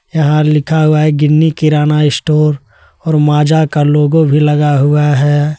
यहां लिखा हुआ है गिन्नी किराना इशटोर और माजा का लोगो भी लगा हुआ है।